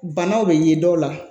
Banaw bɛ ye dɔw la